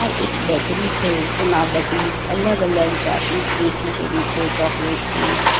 એક બેકરી છે જેમાં બધી જ અલગ-અલગ જાતની કેક મૂકેલી છે ચોકલેટ કેક --